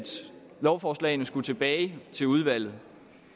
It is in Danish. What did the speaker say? lovforslagene skulle tilbage til udvalget